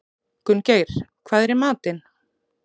Gunngeir, hvað er í matinn?